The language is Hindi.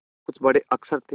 कुछ में बड़े अक्षर थे